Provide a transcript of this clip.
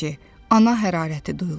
ana hərarəti duyulurdu.